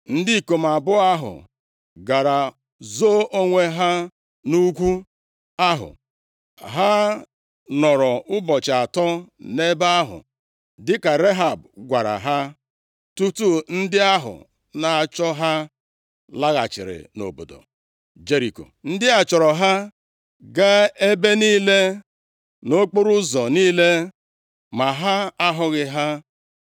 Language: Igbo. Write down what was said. Ndị ikom abụọ ahụ gara zoo onwe ha nʼugwu ahụ. Ha nọrọ ụbọchị atọ nʼebe ahụ dịka Rehab gwara ha, tutu ndị ahụ na-achụ ha laghachiri nʼobodo Jeriko. Ndị a chọọrọ ha gaa ebe niile, nʼokporoụzọ niile, ma ha ahụghị ha.